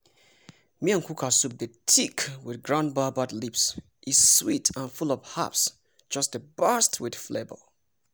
miyan kuka soup dey thick with ground baobab leaves e sweet and full of herbs just dey burst with flavor!